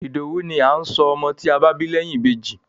Ìdòwú ni à ń sọ ọmọ tí a bá bí lẹ́yìn Ìbejì.